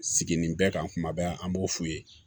Sigini bɛɛ kan kuma bɛɛ an b'o f'u ye